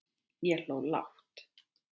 Ég hló lágt.